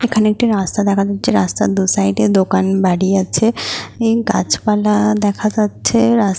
এখানে একটি রাস্তা দেখা যাচ্ছে রাস্তা দু সাইড -এ দোকান বাড়ি আছে। গাছপালা দেখা যাচ্ছে রাস্--